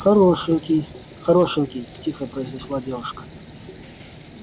хорошенький хорошенький тихо произнесла девушка